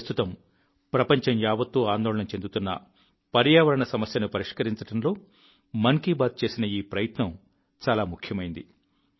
ప్రస్తుతం ప్రపంచం యావత్తూ ఆందోళన చెందుతున్న పర్యావరణ సమస్యను పరిష్కరించడంలో మన్ కీ బాత్ చేసిన ఈ ప్రయత్నం చాలా ముఖ్యమైంది